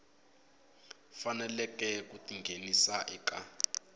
faneleke ku ti nghenisa eka